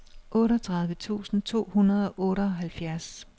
otteogtredive tusind to hundrede og otteoghalvfjerds